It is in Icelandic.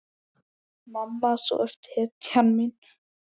Mamma, þú ert hetjan mín.